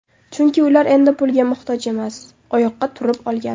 Chunki ular endi pulga muhtoj emas, oyoqqa turib olgan.